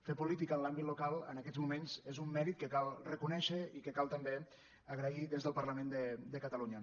fer política en l’àmbit local en aquests moments és un mèrit que cal reconèixer i que cal també agrair des del parlament de catalunya